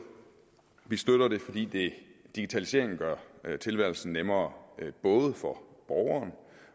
vi støtter det fordi digitaliseringen gør tilværelsen nemmere både for borgeren